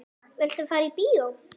Viltu fara í bíó?